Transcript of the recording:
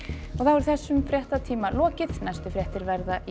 þessum fréttatíma er lokið næstu fréttir verða í